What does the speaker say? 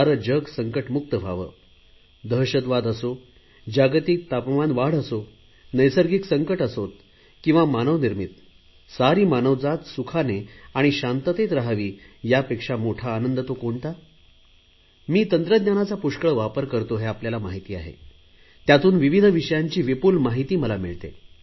सारे जग संकटमुक्त व्हावे दहशतवाद असो जागतिक तापमान वाढ असो नैसर्गिक संकट असोत किंवा मानवनिर्मित सारी मानवजात सुखाने आणि शांततेत राहावी यापेक्षा मोठा आनंद तो कोणता मी तंत्रज्ञानाचा पुष्कळ वापर करतो हे आपल्याला माहित आहे त्यातून विविध विषयांची विपुल माहिती मला मिळते